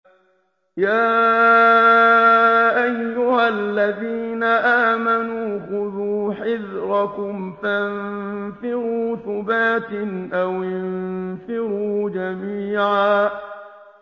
يَا أَيُّهَا الَّذِينَ آمَنُوا خُذُوا حِذْرَكُمْ فَانفِرُوا ثُبَاتٍ أَوِ انفِرُوا جَمِيعًا